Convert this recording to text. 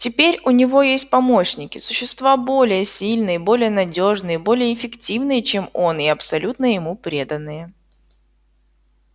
теперь у него есть помощники существа более сильные более надёжные более эффективные чем он и абсолютно ему преданные